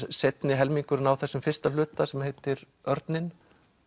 seinni helmingurinn á þessum fyrsta hluta sem heitir Örninn